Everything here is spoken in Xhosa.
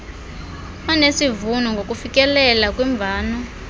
onesivuno ngokufikelela kwimvano